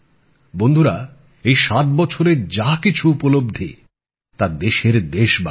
বন্ধুরা এই ৭ বছরে যা কিছু উপলব্ধি তা দেশের দেশবাসীর